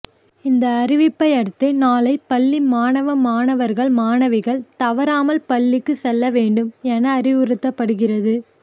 இந்த அறிவிப்பை அடுத்து நாளை பள்ளி மாணவ மாணவர்கள் மாணவிகள் தவறாமல் பள்ளிக்கு செல்ல வேண்டும் என அறிவுறுத்தப்படுகிறது